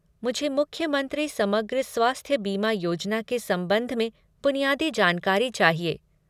मुझे मुख्यमंत्री समग्र स्वास्थ्य बीमा योजना के संबंध में बुनियादी जानकारी चाहिए।